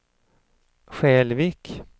Skälvik